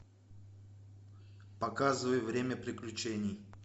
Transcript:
показывай время приключений